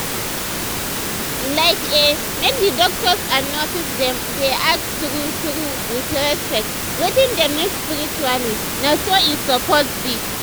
like eh make d doctors and nurses dem dey ask true true with respect wetin dem need spiritually na so e suppose be.